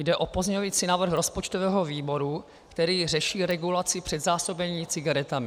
Jde o pozměňovací návrh rozpočtového výboru, který řeší regulaci předzásobení cigaretami.